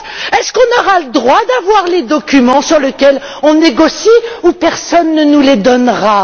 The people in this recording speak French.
Est ce qu'on aura le droit d'avoir les documents sur lesquels on négocie ou est ce que personne ne nous les donnera?.